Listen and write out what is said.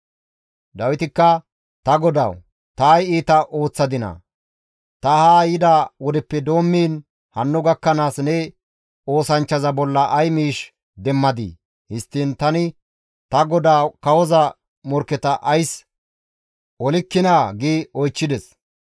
Dawitikka, «Ta godawu, ta ay iita ooththadinaa? Ta haa yida wodeppe doommiin hanno gakkanaas ne oosanchchaza bolla ay miish demmadii? Histtiin tani ta godaa kawoza morkketa ays olikkinaa?» gi oychchides.